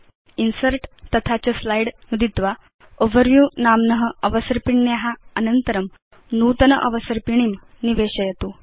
insert तथा च slide नुदित्वा ओवरव्यू नाम्न अवसर्पिण्या अनन्तरं नूतन अवसर्पिणीं निवेशयतु